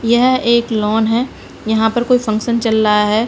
यह एक लॉन है। यहा पर कोई फंकशन चल रहा है।